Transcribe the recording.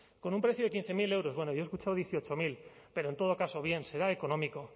con un precio de quince mil euros bueno yo he escuchado dieciocho mil pero en todo caso bien será económico